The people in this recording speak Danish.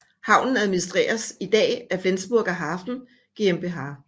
Havnen administreres i dag af Flensburger Hafen GmbH